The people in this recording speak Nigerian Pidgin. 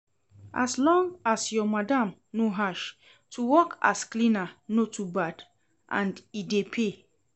As long as your madam no harsh, to work as cleaner no to bad and e dey pay